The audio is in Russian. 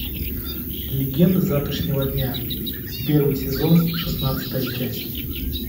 легенда завтрашнего дня первый сезон шестнадцатая часть